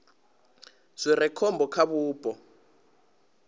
zwi re khombo kha vhupo